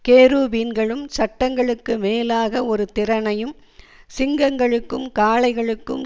கேருபீன்களும் சட்டங்களுக்கு மேலாக ஒரு திரணையும் சிங்கங்களுக்கும் காளைகளுக்கும்